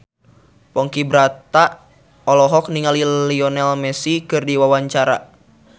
Ponky Brata olohok ningali Lionel Messi keur diwawancara